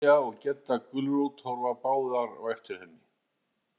Mæja og Gedda gulrót horfa báðar á eftir henni.